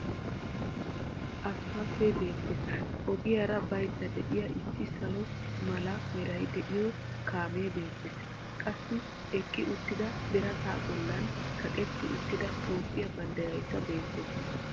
Asppaltee beettees. Ogiyaara baydda de'iya issi salo mala meray de'iyo kaamee beettees. Qassi eqqi uttida birata bollan kaqqeti uttida Toophphiya banddiraykka beettees.